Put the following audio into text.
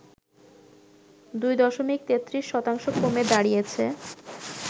২ দশমিক ৩৩ শতাংশ কমে দাঁড়িয়েছে